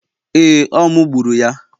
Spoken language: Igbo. Ee, ọ mu gburu ya